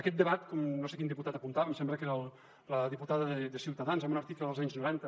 aquest debat no sé quin diputat ho apuntava em sembla que era la diputada de ciutadans en un article dels anys noranta